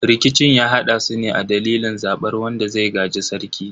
Rikicin ya haddasu ne a dalilin zabar wanda zai gaji sarki.